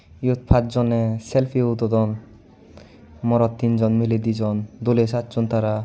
iyot pachjone selfie udodon morot dijon miley tinjon doley sacchon tara.